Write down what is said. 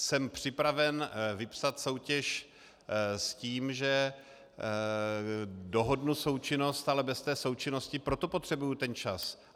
Jsem připraven vypsat soutěž s tím, že dohodnu součinnost, ale bez součinnosti pro to potřebuji ten čas.